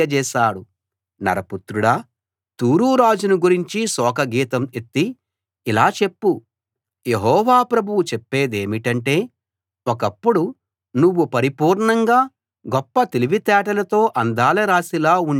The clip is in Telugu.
నరపుత్రుడా తూరు రాజును గురించి శోకగీతం ఎత్తి ఇలా చెప్పు యెహోవా ప్రభువు చెప్పేదేమిటంటే ఒకప్పుడు నువ్వు పరిపూర్ణంగా గొప్ప తెలివితేటలతో అందాల రాశిలా ఉండే వాడివి